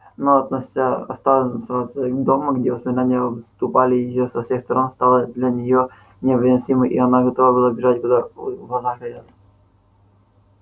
но оставаться дома где воспоминания обступали её со всех сторон стало для нее невыносимо и она готова была бежать куда глаза глядят